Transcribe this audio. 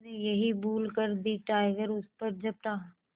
उसने यही भूल कर दी टाइगर उस पर झपटा